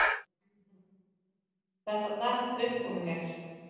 Þetta datt upp úr mér